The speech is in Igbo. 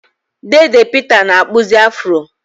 Deede Peter na-akpụzi Afro.